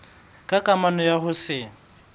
ka kamano ya ho se